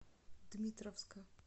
дмитровска